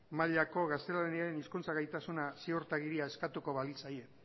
mailako gaztelaniaren hizkuntza gaitasun ziurtagiria eskatuko balitzaie